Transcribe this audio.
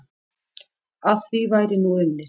Að því væri nú unnið.